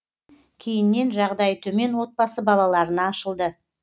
кейіннен жағдайы төмен отбасы балаларына ашылды